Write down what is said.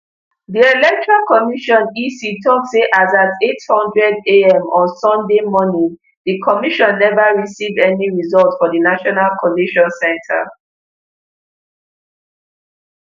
di electoral commission ec tok say as at eight hundredam on sunday morning di commission neva receive any result for di national collation centre